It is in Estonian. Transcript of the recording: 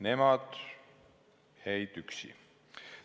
Nemad jäid üksi.